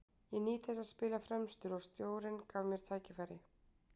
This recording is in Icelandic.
Ég nýt þess að spila fremstur og stjórinn gaf mér tækifæri.